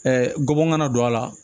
gɔbɔn ka na don a la